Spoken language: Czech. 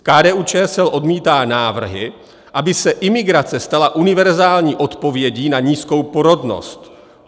KDU-ČSL odmítá návrhy, aby se imigrace stala univerzální odpovědí na nízkou porodnost.